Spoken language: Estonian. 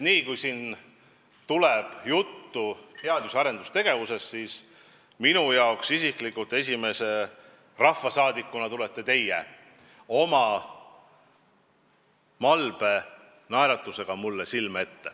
Alati, kui siin tuleb juttu teadus- ja arendustegevusest, siis mulle isiklikult esimese rahvasaadikuna tulete silme ette teie oma malbe naeratusega.